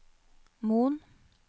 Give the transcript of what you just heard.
Moen